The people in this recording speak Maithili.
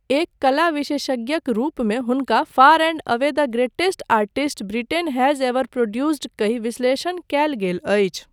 एक कला विशेषज्ञक रूपमे हुनका far and away the greatest artist Britain has ever produced कहि विश्लेषण कयल गेल अछि।